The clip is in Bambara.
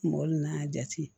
Mɔgɔ nan'a jate